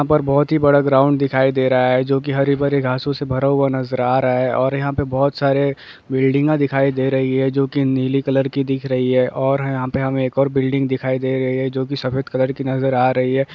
यहाँ पर बहुत ही बड़ा ग्राउन्ड दिखाई दे रहा है जो की हरे -भरे घासों से भरा हुआ नजर आ रहा है और यहाँ पे बहुत सारे बिल्डिंगे दिखाई दे रही है जो की नीले कलर की दिख रही है और यहाँ पर हमे एक और बिल्डिंग दिखाई दे रही है जो की सफेद कलर की नजर आ रही है।